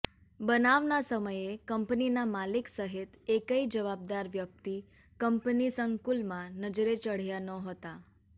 બનાવના સમયે કંપનીના માલિક સહિત એકેય જવાબદાર વ્યક્તિ કંપની સંકુલમાં નજરે ચઢયા નહોતા